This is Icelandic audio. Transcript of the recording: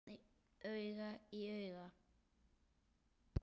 Auga í auga.